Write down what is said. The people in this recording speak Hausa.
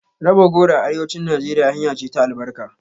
Raba goro a Arewacin Najeriya hanya ce ta albarka.